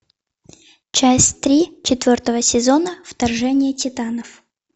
часть три четвертого сезона вторжение титанов